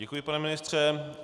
Děkuji, pane ministře.